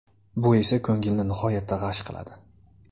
Bu esa ko‘ngilni nihoyatda g‘ash qiladi.